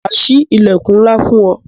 Ma sí ilẹkun ńlá fún ọ